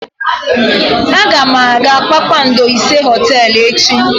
Aga m aga kpakpando ise hoteelu echi.